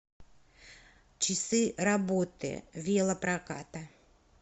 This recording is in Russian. часы работы велопроката